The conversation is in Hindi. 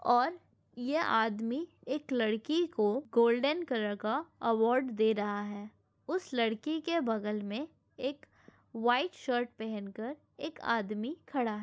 और ये आदमी एक लड़की को गोल्डेन कलर का अवार्ड दे रहा हैं उस लड़की के बगल में एक वाइट शर्ट पहन कर एक आदमी खड़ा --